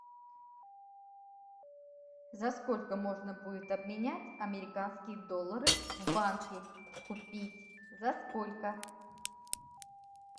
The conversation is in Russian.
за сколько можно будет обменять американские доллары в банке купить за сколько